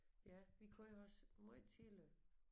Ja vi kører også måj tidligt